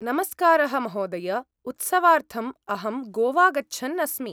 नमस्कारः महोदय, उत्सवार्थम् अहं गोवा गच्छन् अस्मि।